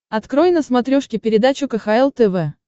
открой на смотрешке передачу кхл тв